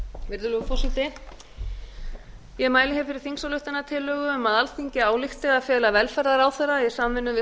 virðulegur forseti ég mæli hér fyrir þingsályktunartillögu um að alþingi álykti að fela velferðarráðherra í samvinnu við